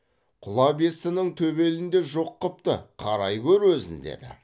құла бестінің төбелін де жоқ қыпты қарай гөр өзін деді